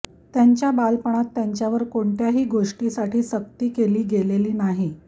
त्यांच्या बालपणात त्यांच्यावर कोणत्याही गोष्टीसाठी सक्ती केली गेली नाही